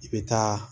I bɛ taa